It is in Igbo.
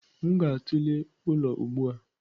M ga-atụle ụlọ ugbu a.